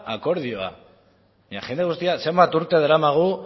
akordioa baina jende guztia zenbat urte daramagu